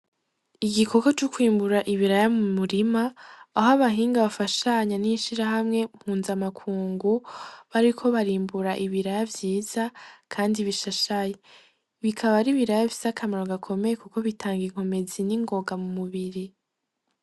Igikogwa co kwimbura ibiraya mu murima aho abahinga bafashanya n'ishirahamwe mpuzamakungu, bariko barimbura ibiraya vyiza kandi bishashaye. Bikaba ari ibiraya bifise akamaro gakomeye kuko bitanga inkomezi mu mubiri.